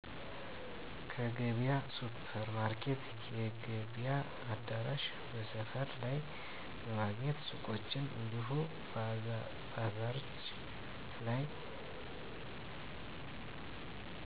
ከገበያ ሱፕርማርኬት የገበያ አዳራሽ በሰፈር ላይ በማግኘት ሱቆች እንዲሁም ባዛርች ላይ